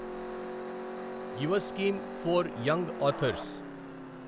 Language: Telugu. Yuva scheme for young authors